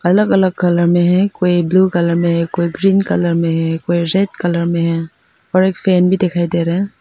अलग अलग कलर में है कोई ब्लू कलर में है कोई ग्रीन कलर में है कोई रेड कलर में है और एक फैन भी दिखाई दे रहा है।